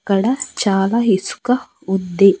ఇక్కడ చాలా ఇసుక ఉంది.